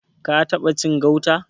Ka taɓa cin gauta?